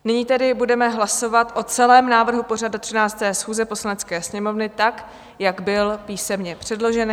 Nyní tedy budeme hlasovat o celém návrhu pořadu 13. schůze Poslanecké sněmovny tak, jak byl písemně předložen.